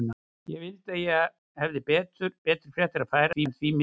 Ég vildi að ég hefði betri fréttir að færa, en því miður.